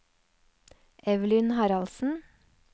Evelyn Haraldsen